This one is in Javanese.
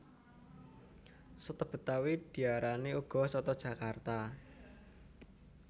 Soto betawi diarani uga soto jakarta